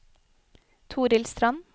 Torhild Strand